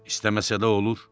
İstəməsə də olur.